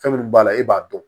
Fɛn minnu b'a la e b'a dɔn